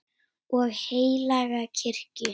og heilaga kirkju